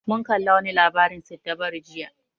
Mun kalla wa ni labarin siddabaru jiya